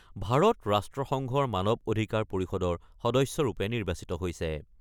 ভাৰত ৰাষ্ট্ৰসংঘৰ মানৱ অধিকাৰ পৰিষদৰ সদস্যৰূপে নিৰ্বাচিত হৈছে।